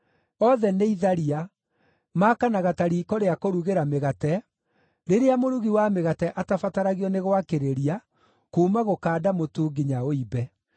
Othe nĩ itharia, maakanaga ta riiko rĩa kũrugĩra mĩgate, rĩrĩa mũrugi wa mĩgate atabataragio nĩ gwakĩrĩria kuuma gũkanda mũtu nginya ũimbe.